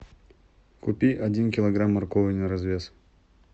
купи один килограмм моркови на развес